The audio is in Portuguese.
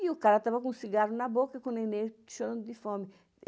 E o cara estava com um cigarro na boca e com o neném chorando de fome.